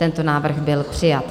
Tento návrh byl přijat.